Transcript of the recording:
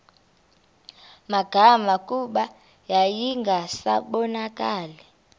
magama kuba yayingasabonakali